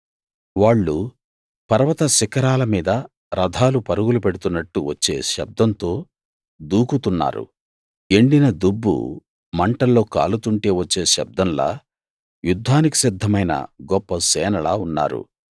వాళ్ళు పర్వత శిఖరాల మీద రథాలు పరుగులు పెడుతున్నట్టు వచ్చే శబ్దంతో దూకుతున్నారు ఎండిన దుబ్బు మంటల్లో కాలుతుంటే వచ్చే శబ్దంలా యుద్ధానికి సిద్ధమైన గొప్ప సేనలా ఉన్నారు